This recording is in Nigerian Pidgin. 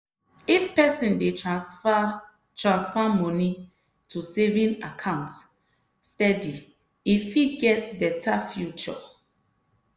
if person dey transfer transfer moni to saving account steady e fit get better future.